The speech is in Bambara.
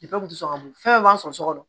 dusukago fɛn fɛn b'an sɔrɔ sokɔnɔn